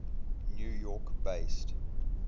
new york based